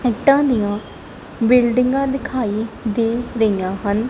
ਇੱਟਾਂ ਦੀਆਂ ਬਿਲਡਿੰਗਾਂ ਦਿਖਾਈ ਦੇ ਰਹੀਆਂ ਹਨ।